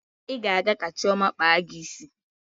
Ị ga-aga ka Chioma kpaa gị isi.